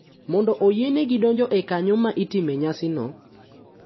Mondo oyienegi donjo e kanyo ma itime nyasi no.